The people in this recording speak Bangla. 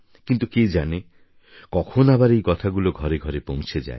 কিন্তু কে জানে কখন আবার এই কথাগুলো ঘরে ঘরে পৌঁছে যাবে